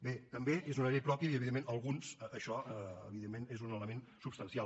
bé també és una llei pròpia i per alguns això evidentment és un element substancial